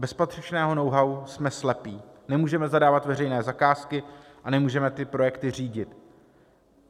Bez patřičného know-how jsme slepí, nemůžeme zadávat veřejné zakázky a nemůžeme projekty řídit.